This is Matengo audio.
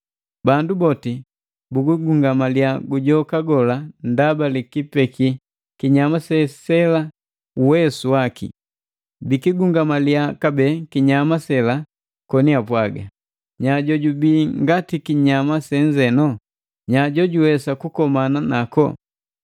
Bandu boti biligungamaliya gujoka gola ndaba likipeki kinyama sela uwesu waki. Bikigungamalia kabee kinyama sela koni apwaga, “Nya jojubii ngati kinyama senzeno? Nya jojuwesa kukomana nako?”